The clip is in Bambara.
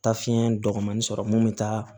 Taa fiɲɛ dɔgɔmani sɔrɔ mun bɛ taa